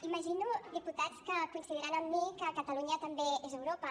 imagino diputats que coincidiran amb mi que catalunya també és europa